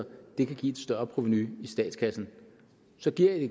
kan